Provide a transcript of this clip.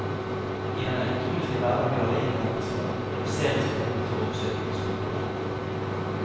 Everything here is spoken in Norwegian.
I den elektroniske hverdag vi alle innhentes av, reduseres behovet for å besøke postkontoret.